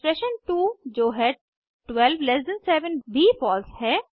expression 2 जो है 12 ल्ट 7 भी फॉल्स है